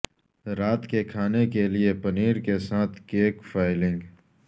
رات کے کھانے کے لئے پنیر کے ساتھ کیک فائلنگ